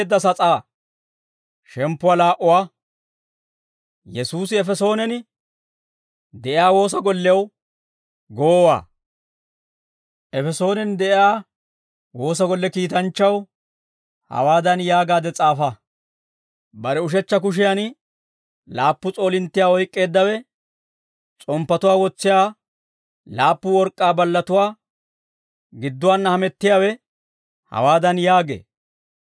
Efesoonen de'iyaa woosa golle kiitanchchaw hawaadan yaagaade s'aafa: «Bare ushechcha kushiyan laappu s'oolinttiyaa oyk'k'eeddawe, s'omppatuwaa wotsiyaa laappu work'k'aa ballatuwaa gidduwaanna hamettiyaawe hawaadan yaagee.